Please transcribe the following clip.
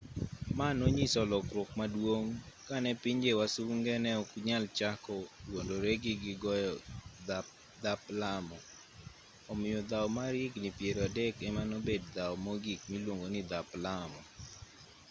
ma nonyiso lokruok maduong' kane pinje wasunge neok nyal chako wuondore ni gigoyo dhap lamo omiyo dhaw mar higni piero adek emanobed dhaw mogik miluongoni dhap lamo